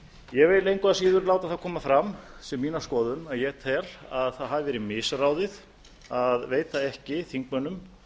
ég vil engu að síður láta það koma fram sem mína skoðun að ég tel að það hafi verið misráðið að veita ekki þingmönnum